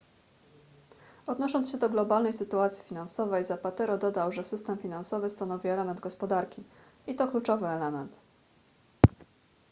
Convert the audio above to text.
odnosząc się do globalnej sytuacji finansowej zapatero dodał że system finansowy stanowi element gospodarki i to kluczowy element